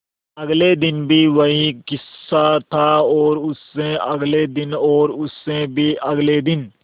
अगले दिन भी वही किस्सा था और उससे अगले दिन और उससे भी अगले दिन